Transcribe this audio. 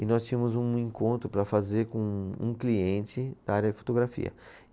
E nós tínhamos um encontro para fazer com um cliente da área fotografia.